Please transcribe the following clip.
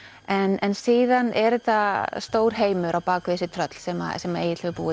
en síðan er þetta stór heimur á bak við þessi tröll sem sem Egill hefur búið